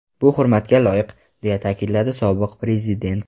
Bu hurmatga loyiq”, deya ta’kidladi sobiq prezident.